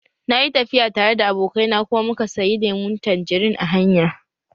Na yi tafiya tare da abokai na kuma muka sayi lemun tanjerin a hanya